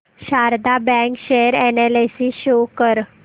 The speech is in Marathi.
Sharda bank share analysis show कर